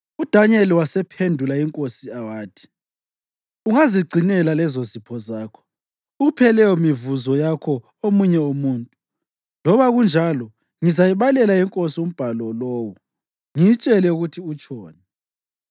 UDanyeli wasephendula inkosi wathi, “Ungazigcinela lezozipho zakho, uphe leyomivuzo yakho omunye umuntu. Loba kunjalo ngizayibalela inkosi umbhalo lowo ngiyitshele ukuthi utshoni.